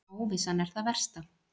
Óvissan er það versta.